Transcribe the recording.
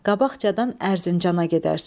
"Qabaqcadadan Ərzincana gedərsən.